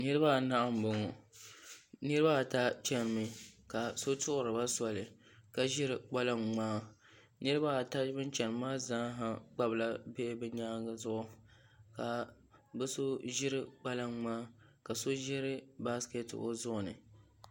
Niraba anahi n boŋo niraba ata chɛnimi ka so tuɣuriba soli ka ʒiri kpalaŋ ŋmaa niraba ata bin chɛni maa zaaha kpabila bihi hi nyaangi zuɣu ka bi so ʒiri kpalaŋ ŋmaa ka so ʒiri baskɛti o zuɣu ni